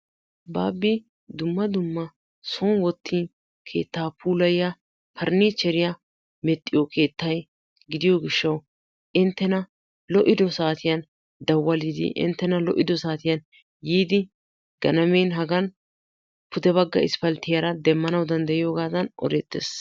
Baabbi dumma dumma son wottin keettaa puulayiya parniichcheriya medhdhiyo keetta gidiyo gishshawu inttena lo"ido saatiyan dawalidi inttena lo"ido saatiyan yiidi ganamen hagan pude bagga isppalttiyara demmanawu danddayiyogaattan odeettes.